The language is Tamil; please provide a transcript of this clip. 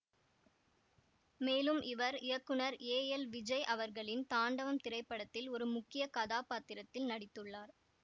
மேலும் இவர் இயக்குநர் ஏ எல் விஜய் அவர்களின் தாண்டவம் திரைப்படத்தில் ஒரு முக்கிய கதாபாத்திரத்தில் நடித்துள்ளார்